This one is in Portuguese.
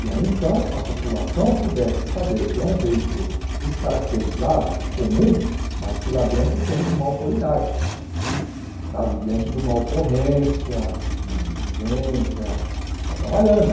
E aí, então, a população pudesse saber que é um veículo descaracterizado, comum, mas que lá dentro tem uma autoridade, sabe, diante de uma ocorrência, de uma diligência, está trabalhando.